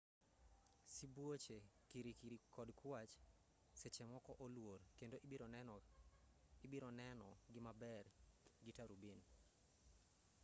sibuoche kirikiri kod kwach sechemoko oluor kendo ibironeno gi maber gi turubin